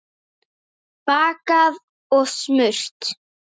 Bakað og smurt.